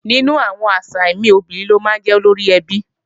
Nínú àwọn àṣà mi, obìnrin ló máa ń jẹ́ olóríẹbí